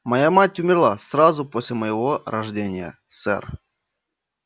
моя мать умерла сразу после моего рождения сэр